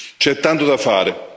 C'è tanto da fare.